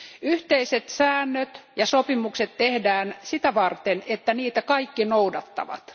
Yhteiset säännöt ja sopimukset tehdään sitä varten, että niitä kaikki noudattavat.